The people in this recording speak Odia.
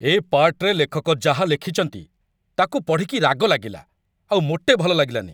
ଏ ପାର୍ଟ୍‌ରେ ଲେଖକ ଯାହା ଲେଖିଚନ୍ତି, ତାକୁ ପଢ଼ିକି ରାଗ ଲାଗିଲା, ଆଉ ମୋଟେ ଭଲ ଲାଗିଲାନି ।